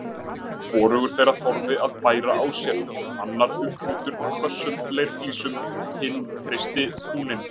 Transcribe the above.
Hvorugur þeirra þorði að bæra á sér, annar umkringdur hvössum leirflísum, hinn kreisti húninn